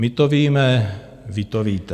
My to víme, vy to víte.